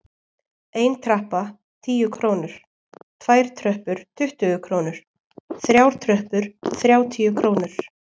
Ein trappa- tíu krónur, tvær tröppur- tuttugu krónur, þrjár tröppur- þrjátíu krónur.